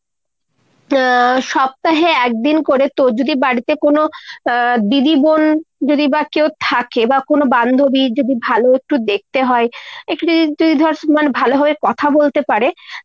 উম সপ্তাহে একদিন করে তোর যদি বাড়িতে কোনো আহ দিদি, বোন যদি বা কেউ থাকে বা কোনো বান্ধবী যদি ভালো একটু দেখতে হয়, একটু যদি তুই ধর ভালোভাবে কথা বলতে পারে তা